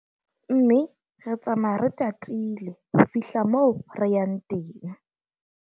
Mme re tsamaya re tatile ho fihla moo re yang teng.